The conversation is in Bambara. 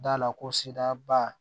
Da la ko siraba